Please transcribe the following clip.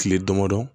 Kile damadɔ